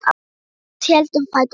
Menn biskups héldu um fætur honum.